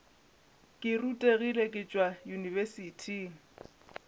ke rutegile ke tšwa yunibesithing